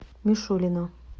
мишулина